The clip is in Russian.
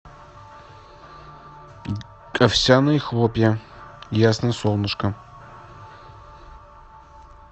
овсяные хлопья ясно солнышко